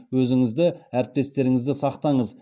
өзіңізді әріптестеріңізді сақтаңыз